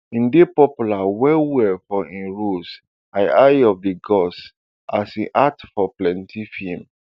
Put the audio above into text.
im dey popular wellwell for im roles as eyes of di gods as im act for plenti feems